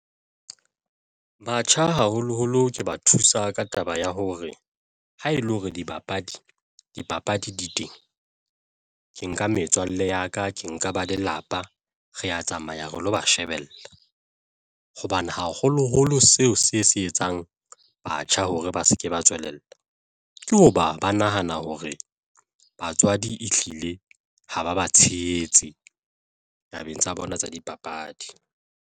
Batjha haholoholo ke ba thusa ka taba ya hore ha e le hore dibapadi, dipapadi di teng ke nka metswalle ya ka, ke nka ba lelapa, re ya tsamaya re lo ba shebella hobane haholoholo seo se se etsang batjha hore ba se ke ba tswelella ke hoba ba nahana hore batswadi ehlile ha ba ba tshehetse tabeng tsa bona tsa dipapadi.